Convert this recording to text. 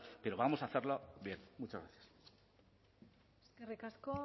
pero vamos a hacerlo bien muchas gracias eskerrik asko